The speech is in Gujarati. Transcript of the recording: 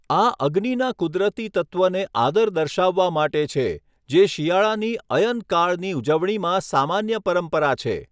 આ અગ્નિના કુદરતી તત્ત્વને આદર દર્શાવવા માટે છે, જે શિયાળાની અયનકાળની ઉજવણીમાં સામાન્ય પરંપરા છે.